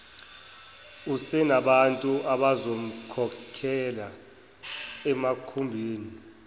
usenabantu abazomkhokhela emakhumbini